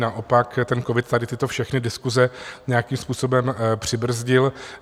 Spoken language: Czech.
Naopak ten covid tady tyto všechny diskuse nějakým způsobem přibrzdil.